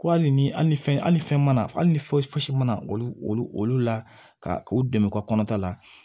Ko hali ni hali ni fɛn hali ni fɛn mana hali ni foyi si mana olu olu olu olu la ka u dɛmɛ u ka kɔnɔta la